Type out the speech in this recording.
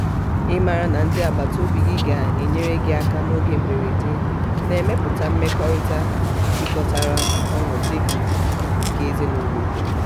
ịmara na ndị agbata obi gị ga-enyere aka n'oge mberede na-emepụta mmekọrịta jikọtara ọnụdika nke ezinụ̀lọ̀ ùkwù.